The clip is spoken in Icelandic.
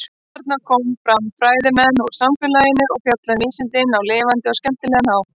Þarna koma fram fræðimenn úr samfélaginu og fjalla um vísindin á lifandi og skemmtilega hátt.